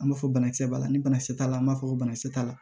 An b'a fɔ banakisɛ b'a la ni banakisɛ t'a la an b'a fɔ ko banakisɛ t'a la